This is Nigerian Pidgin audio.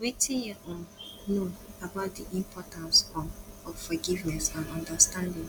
wetin you um know about di importance um of forgiveness and understanding